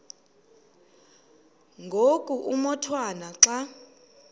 ngoku umotwana xa